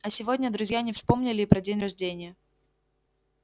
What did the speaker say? а сегодня друзья не вспомнили и про день рождения